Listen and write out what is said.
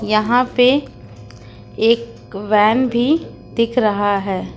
यहां पे एक वैन भी दिख रहा है।